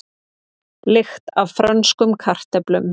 Lykt af frönskum kartöflum